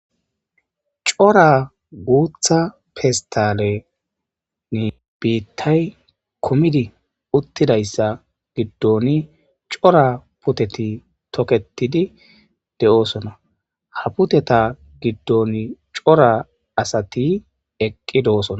cora guutha fistalenni biittay kumidi uttidayssa giddoni cora puteti toketidi de7oosona ha puteta giddon cora asati eqqi doosona